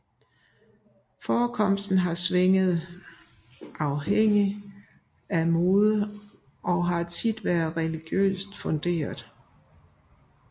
Forekomsten har svinget afhængig af mode og har til tider været religiøst funderet